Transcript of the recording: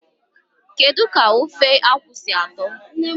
Kedu ka ofe akwu si ato?